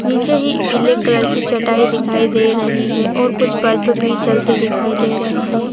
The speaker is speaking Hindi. निचे ही पीले कलर की चटाई दिखाई दे रही है और कुछ बल्ब भी दिखाई दे रही हैं।